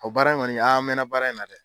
O baara in kɔni an mɛnna baara in na dɛ.